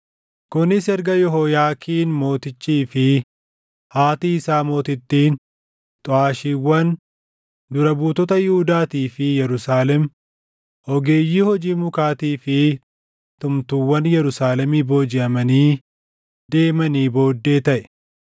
Kunis erga Yehooyaakiin mootichii fi haati isaa mootittiin, xuʼaashiiwwan, dura buutota Yihuudaatii fi Yerusaalem, ogeeyyii hojii mukaatii fi tumtuuwwan Yerusaalemii boojiʼamanii deemanii booddee taʼe.